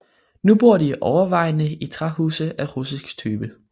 Nu bor de overvejende i træhuse af russisk type